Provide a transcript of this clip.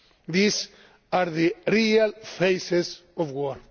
These are the real faces of